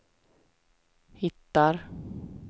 hittar